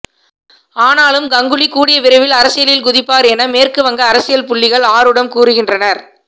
ஆனாலும் கங்குலி கூடிய விரைவில் அரசியலில் குதிப்பார் என மேற்குவங்க அரசியல் புள்ளிகள் ஆருடம் கூறுகின்றனர்